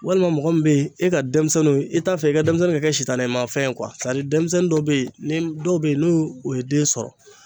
Walima mɔgɔ min bɛ yen e ka denmisɛnninw i t'a fɛ i ka denmisɛnnin ka kɛ sitanimafɛn ye denmisɛnnin dɔw bɛ yen dɔw bɛ yen n'u u ye den sɔrɔ.